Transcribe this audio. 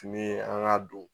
Fini an ka don